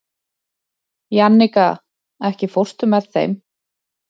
Jannika, ekki fórstu með þeim?